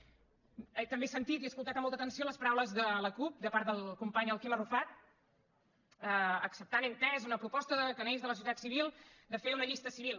també he sentit i he escoltat amb molta atenció les paraules de la cup de part del company el quim arrufat acceptant he entès una proposta que neix de la societat civil de fer una llista civil